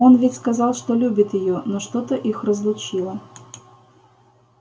он ведь сказал что любит её но что-то их разлучило